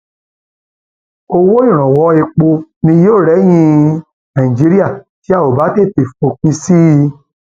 owó ìrànwọ epo ni yóò rẹyìn nàìjíríà tá ò bá tètè fòpin sí i